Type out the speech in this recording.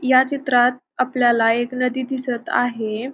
या चित्रात आपल्याला एक नदी दिसत आहे.